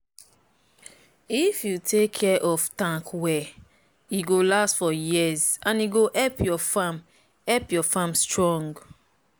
if you take care of your tank well e go last for years and e go help your farm help your farm strong.